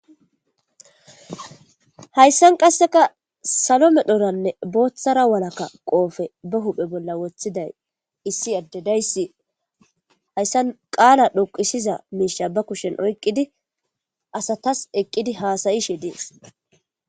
Hayssan qasseka salo medhoranne booththara walakka qoofe ba huphe bolla wothiday issi addedayssi hayssan qaala dhoqisiza miisha ba kushen oyqqidi asatas eqqidi haasayi she dies.